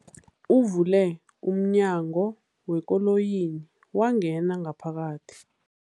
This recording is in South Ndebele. Uvule umnyango wekoloyi wangena ngaphakathi.